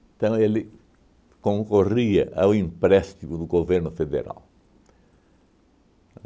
Então, ele concorria ao empréstimo do governo federal.